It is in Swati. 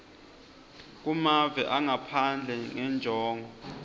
kumave angaphandle ngenjongo